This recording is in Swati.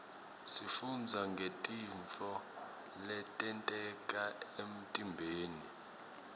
sifundza ngetintfo letenteka emtiimbeni